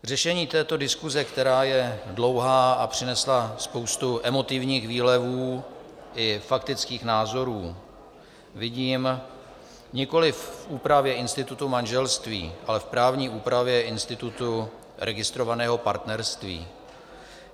Řešení této diskuze, která je dlouhá a přinesla spoustu emotivních výlevů i faktických názorů, vidím nikoliv v úpravě institutu manželství, ale v právní úpravě institutu registrovaného partnerství.